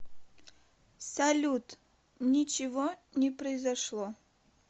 салют ничего не произошло